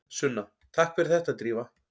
Sunna: Takk fyrir þetta Drífa.